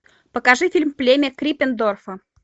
покажи фильм племя криппендорфа